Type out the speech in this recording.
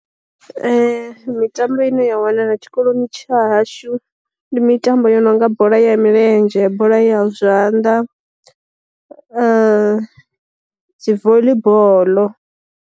Mitambo i ne ya wanala tshikoloni tsha hashu ndi mitambo ya nonga bola ya milenzhe, bola ya zwanḓa, dzi voḽi boḽo.